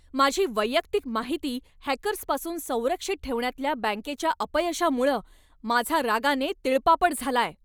माझी वैयक्तिक माहिती हॅकर्सपासून संरक्षित ठेवण्यातल्या बँकेच्या अपयशामुळं माझा रागाने तिळपापड झालाय.